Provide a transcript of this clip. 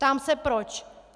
Ptám se proč.